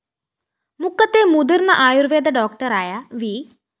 മുക്കത്തെ മുതിര്‍ന്ന ആയുര്‍വേദ ഡോക്ടറായ വി